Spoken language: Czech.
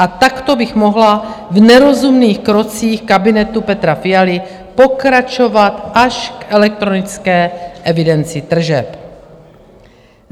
A takto bych mohla v nerozumných krocích kabinetu Petra Fialy pokračovat až k elektronické evidenci tržeb.